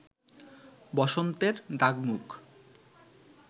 বসন্তের দাগ-মুখ